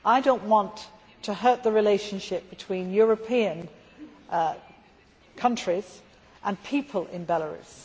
I do not want to hurt the relationship between European countries and people in Belarus.